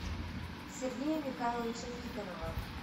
сергея михайловича никонова